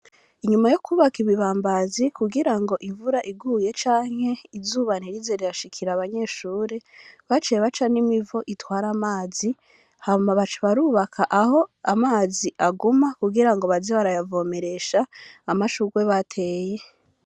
Inyuma yo kwubaka ibibambazi kugira ngo imvura iguye canke izuba ntirize rirashikira abanyeshuri, baciye baca n'imivo itwara amazi, hama baca barubaka aho amazi aguma kugira ngo baze barayavomeresha, amashurwe bateye.